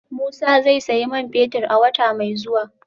Musa zai sayi man fetir a wata mai zuwa